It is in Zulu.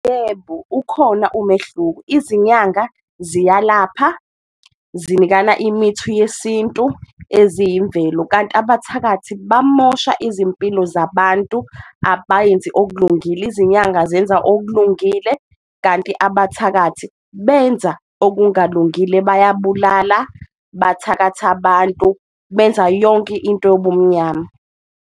Yebo, ukhona umehluko izinyanga ziyalapha, zinikana imithi yesintu eziyimvelo kanti abathakathi bamosha izimpilo zabantu abenzi okulungile, izinyanga zenza okulungile kanti abathakathi benza okungalungile bayabulala, bathakathi abantu benza yonke into yobumnyama.